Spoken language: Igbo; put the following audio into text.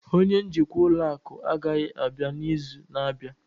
onye njikwa ụlọ akụ agaghị abịa n'izu na-abịa